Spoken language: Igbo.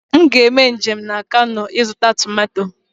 M ga-eme njem na kano ịzụta tomato